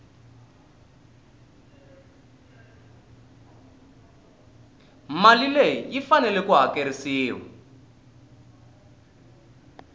mali leyi faneleke ku hakerisiwa